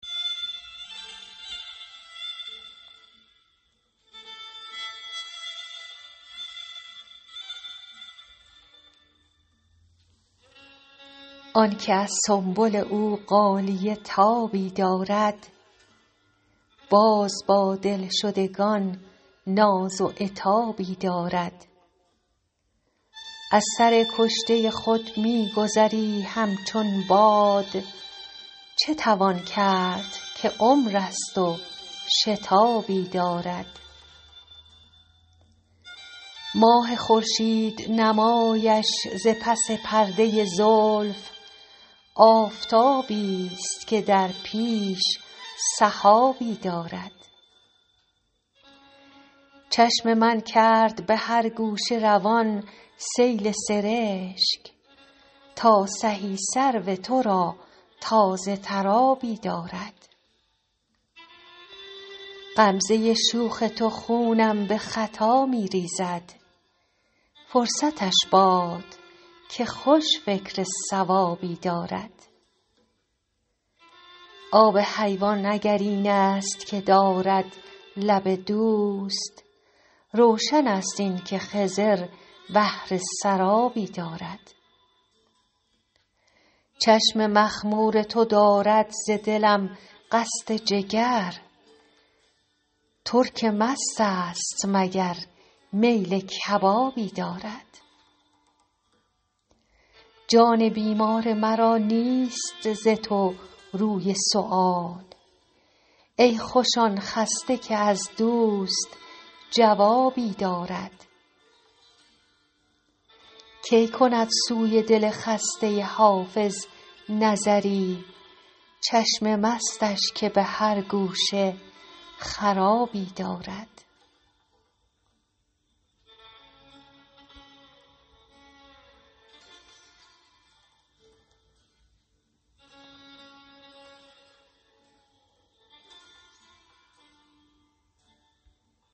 آن که از سنبل او غالیه تابی دارد باز با دلشدگان ناز و عتابی دارد از سر کشته خود می گذری همچون باد چه توان کرد که عمر است و شتابی دارد ماه خورشید نمایش ز پس پرده زلف آفتابیست که در پیش سحابی دارد چشم من کرد به هر گوشه روان سیل سرشک تا سهی سرو تو را تازه تر آبی دارد غمزه شوخ تو خونم به خطا می ریزد فرصتش باد که خوش فکر صوابی دارد آب حیوان اگر این است که دارد لب دوست روشن است این که خضر بهره سرابی دارد چشم مخمور تو دارد ز دلم قصد جگر ترک مست است مگر میل کبابی دارد جان بیمار مرا نیست ز تو روی سؤال ای خوش آن خسته که از دوست جوابی دارد کی کند سوی دل خسته حافظ نظری چشم مستش که به هر گوشه خرابی دارد